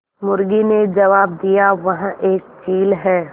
मुर्गी ने जबाब दिया वह एक चील है